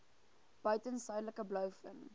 buiten suidelike blouvin